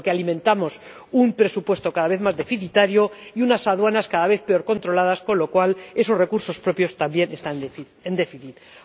Alimentamos un presupuesto cada vez más deficitario y unas aduanas cada vez peor controladas, con lo cual esos recursos propios también son deficitarios.